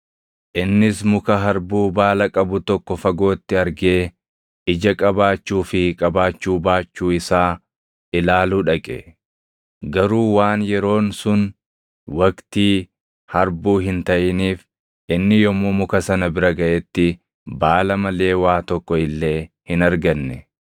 Innis muka harbuu baala qabu tokko fagootti argee ija qabaachuu fi qabaachuu baachuu isaa ilaaluu dhaqe. Garuu waan yeroon sun waqtii harbuu hin taʼiniif inni yommuu muka sana bira gaʼetti baala malee waa tokko illee hin arganne.